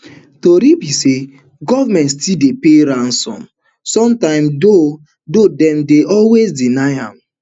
tori be say goment still dey pay ransom sometimes though though dem dey always deny am